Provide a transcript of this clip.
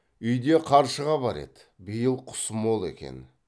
үйде қаршыға бар еді биыл құс мол екен